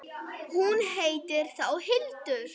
Hún heitir þá Hildur!